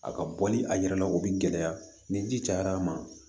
A ka bɔli a yɛrɛ la o bɛ gɛlɛya ni ji cayara a ma